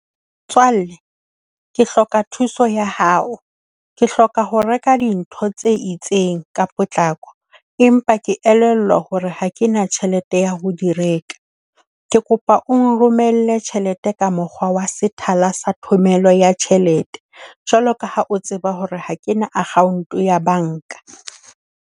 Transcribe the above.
Motswalle, ke hloka thuso ya hao. Ke hloka ho reka dintho tse itseng ka potlako, empa ke elellwa hore ha ke na tjhelete ya ho di reka. Ke kopa o nromelle tjhelete ka mokgwa wa sethala sa thomello ya tjhelete, jwalo ka ha o tseba hore ha ke na account ya banka.